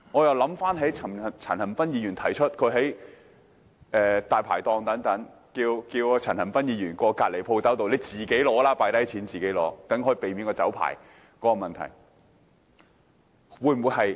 因為陳恒鑌議員昨天指出，他在光顧大排檔時，店主讓他到毗鄰的店鋪放下金錢，自己拿啤酒，這樣便可避免沒有酒牌的問題。